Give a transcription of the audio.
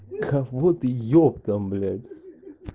кого ты ептам блять